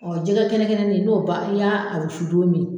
jɛgɛ kɛnɛkɛnɛnin n'o ban n'i y'a wusu don min.